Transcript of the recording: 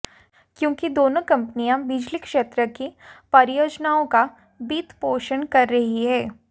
क्योंकि दोनों कंपनियां बिजली क्षेत्र की परियोजनाओं का वित्तपोषण कर रही हैं